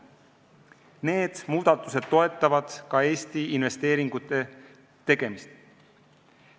Need muudatused toetavad ka Eesti investeeringute tegemist.